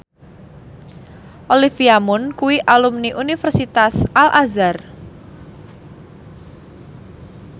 Olivia Munn kuwi alumni Universitas Al Azhar